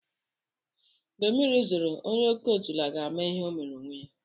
Mgbe mmiri zoro, onye oke otula ga-ama ihe omere onwe ya.